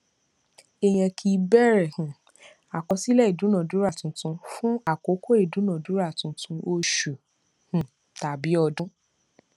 èèyàn kì í bẹrẹ um àkọsílẹ ìdúnadúrà tuntun fún àkókò ìdúnadúrà tuntun oṣù um tàbí ọdún